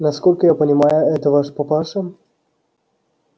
насколько я понимаю это ваш папаша